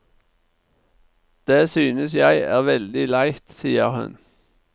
Det synes jeg er veldig leit, sier hun.